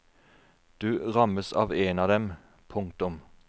Du rammes av én av dem. punktum